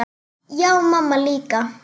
Já, og mamma líka.